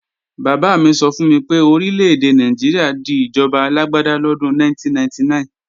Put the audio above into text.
Bàbá mi sọ fún mi pé Orílè-èdè Nàìjíríà di ìjọba alágbáda lọ́dún 1999